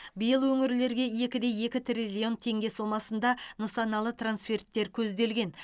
биыл өңірлерге екі де екі триллион теңге сомасында нысаналы трансферттер көзделген